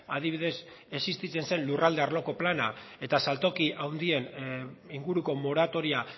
adibidez existitzen zen lurralde arloko plana eta saltoki handien inguruko moratoria